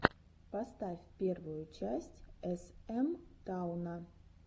поставь первую часть эс эм тауна